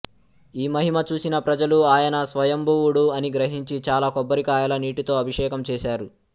ఈ మహిమ చూసిన ప్రజలు ఆయన స్వయంభువుడు అని గ్రహించి చాలా కొబ్బరికాయల నీటితో అభిషేకం చేశారు